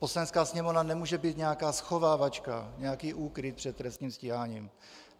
Poslanecká sněmovna nemůže být nějaká schovávačka, nějaký úkryt před trestním stíháním.